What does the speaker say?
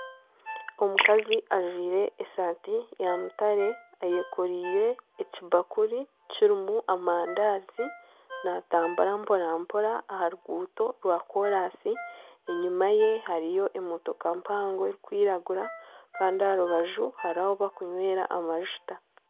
Omukazi ajwire esaati ya mutare ayekoreire ekibakuri kirimu amandaazi naatambura mpora mpora aha ruguuto rwa koraasi enyima ye hariyo emotoka mpango erikwiragura kandi aha rubaju hariho ahi bakunywera amajuta.